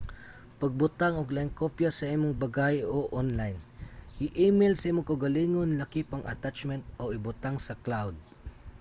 pagbutang og laing kopya sa imong bagahe o onlayn i-email sa imong kaugalingon lakip ang attachment o ibutang sa cloud"